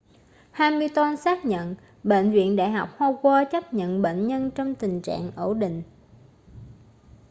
hamilton xác nhận bệnh viện đại học howard chấp nhận bệnh nhân trong tình trạng ổn định